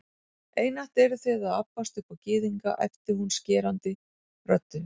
Einatt eruð þið að abbast upp á Gyðinga, æpti hún skerandi röddu